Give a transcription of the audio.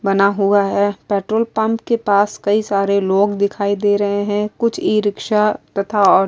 بنا ہوا ہے۔ پیٹرول پمپ کے پاس کی سارے لوگ دکھائی دے رہے ہے۔ کچھ ی-رکشا ٹھٹھا آٹو --